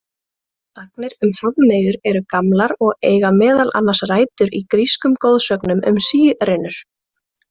Sagnir um hafmeyjar eru gamlar og eiga meðal annars rætur í grískum goðsögum um sírenur.